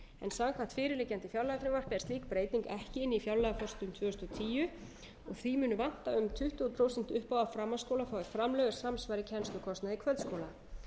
samkvæmt fyrirliggjandi fjárlagafrumvarpi er slík breyting ekki í fjárlagaforsendum tvö þúsund og tíu því mun vanta um tuttugu prósent upp á að framhaldsskólar fái framlög er samsvari kennslukostnaði kvöldskóla